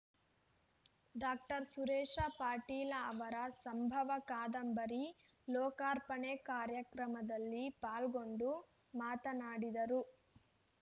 doctor Suresh Patil ಅವರ ಸಂಭವ ಕಾದಂಬರಿ ಲೋಕಾರ್ಪಣೆ ಕಾರ್ಯಕ್ರಮದಲ್ಲಿ ಪಾಲ್ಗೊಂಡು ಮಾತನಾಡಿದರು